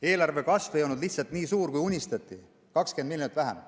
Eelarve kasv ei ole lihtsalt nii suur, kui unistati, on 20 miljonit vähem.